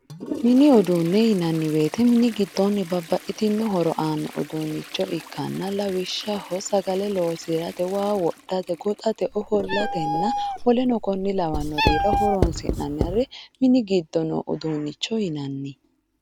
Mini uduune yinnanni woyte mini giddonni babbaxitino horo aano uduunicho ikkanna lawishshaho sagale loosirate waa wodhate goxate ofollatenna woleno kone lawanorira horonsi'nanni mini giddo uduunicho yinnanni.